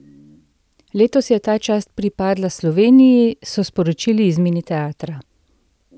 Letos je ta čast pripadla Sloveniji, so sporočili iz Mini teatra.